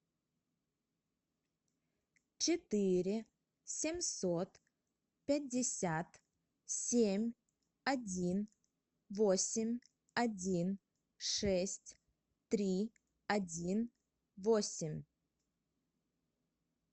четыре семьсот пятьдесят семь один восемь один шесть три один восемь